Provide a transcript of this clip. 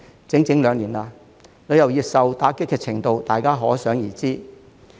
整整兩年了，旅遊業受打擊程度可想而知。